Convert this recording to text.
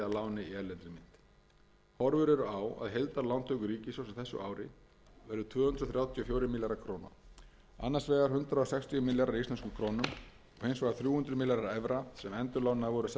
sem tekinn væri að láni í erlendri mynt horfur eru á að heildarlántökur ríkissjóðs á þessu ári verði tvö hundruð þrjátíu og fjórir milljarðar króna annars vegar hundrað sextíu milljarðar í íslenskum krónum og hins vegar þrjú hundruð milljónir evra sem endurlánaðar voru seðlabanka íslands til að styrkja